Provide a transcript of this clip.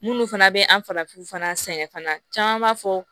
Munnu fana bɛ an farafinw fana sɛgɛn fana caman b'a fɔ